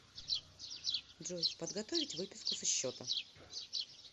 джой подготовить выписку со счета